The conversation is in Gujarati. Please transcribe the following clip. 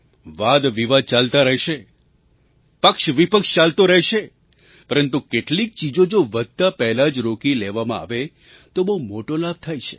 વાદવિવાદ ચાલતા રહેશે પક્ષવિપક્ષ ચાલતો રહેશે પરંતુ કેટલીક ચીજો જો વધતા પહેલાં જ રોકી લેવામાં આવે તો બહુ મોટો લાભ થાય છે